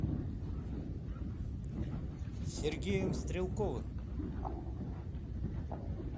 сергеем стрелковым